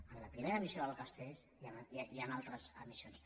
en la primera emissió del castells i en altres emissions